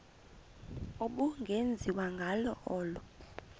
ubungenziwa ngalo olu